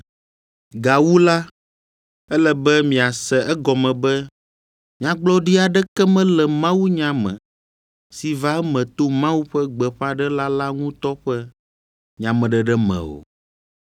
Gawu la, ele be miase egɔme be nyagblɔɖi aɖeke mele mawunya me si va eme to Mawu ƒe gbeƒãɖela la ŋutɔ ƒe nyameɖeɖe me o.